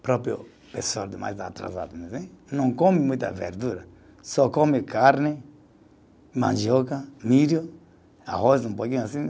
Próprio pessoa mais atrasada não come muita verdura, só come carne, mandioca, milho, arroz, um pouquinho assim.